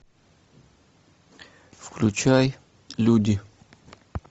включай люди